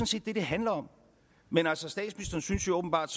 set det det handler om men altså statsministeren synes så åbenbart